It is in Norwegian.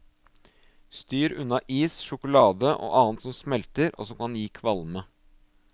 Styr unna is, sjokolade og annet som smelter og som kan gi kvalme.